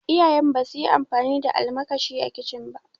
Iyayen mu ba su yi amfani da almakashi a kicin ba